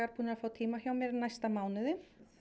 búnir að fá tíma hjá mér í næsta mánuði